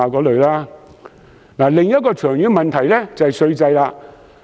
另一個長遠問題是稅制。